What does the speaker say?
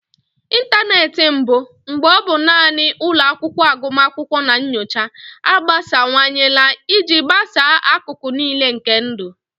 Ịntanetị mbụ, mgbe ọ bụ naanị ụlọ akwụkwọ agụmakwụkwọ na nyocha, agbasawanyela iji gbasaa akụkụ niile nke ndụ.